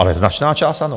Ale značná část ano.